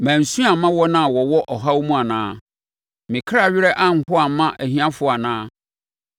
Mansu amma wɔn a wɔwɔ ɔhaw mu anaa? Me kra werɛ anho amma ahiafoɔ anaa?